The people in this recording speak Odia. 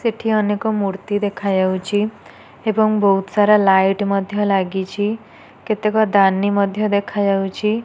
ସେଠି ଅନେକ ମୂର୍ତ୍ତି ଦେଖା ଯାଉଛି। ଏବଂ ବୋହୁତ ସାରା ଲାଇଟ୍ ମଧ୍ୟ ଲାଗିଛି। କେତେକ ଦାନି ମଧ୍ୟ ଦେଖାଯାଉଛି।